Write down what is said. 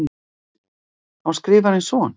Á Skrifarinn son?